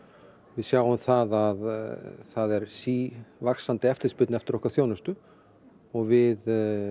við sjáum að það er sívaxandi eftirspurn eftir okkar þjónustu og við